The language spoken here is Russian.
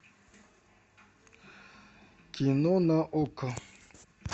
кино на окко